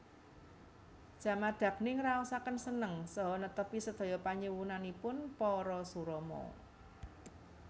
Jamadagni ngraosaken seneng saha netepi sedaya panyuwunanipun Parasurama